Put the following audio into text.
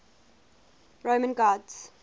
roman gods